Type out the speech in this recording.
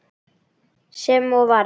Sem og varð.